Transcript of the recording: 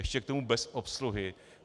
Ještě k tomu bez obsluhy.